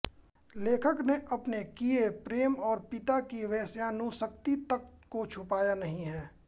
लेखक ने अपने किये प्रेम और पिता की वेश्यानुसक्ति तक को छुपाया नहीं है